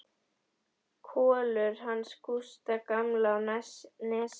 Kolur hans Gústa gamla á Nesi.